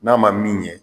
N'a ma min ɲɛ